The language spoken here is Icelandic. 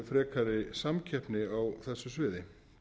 frekari samkeppni á þessu sviði